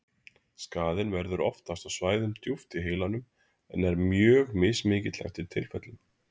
Skaðinn verður oftast á svæðum djúpt í heilanum en er mjög mismikill eftir tilfellum.